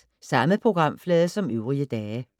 Samme programflade som øvrige dage